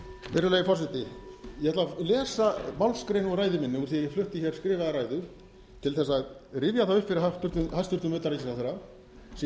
virðulegi forseti ég ætla að lesa málsgrein úr ræðu minni úr því að ég flutti hér skrifaða ræðu til þess að rifja það upp fyrir hæstvirtan utanríkisráðherra sem ég